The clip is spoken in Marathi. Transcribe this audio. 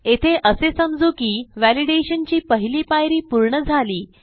येथे असे समजू की व्हॅलिडेशन ची पहिली पायरी पूर्ण झाली